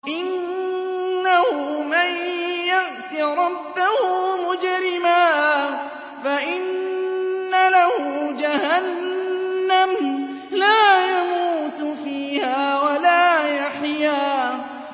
إِنَّهُ مَن يَأْتِ رَبَّهُ مُجْرِمًا فَإِنَّ لَهُ جَهَنَّمَ لَا يَمُوتُ فِيهَا وَلَا يَحْيَىٰ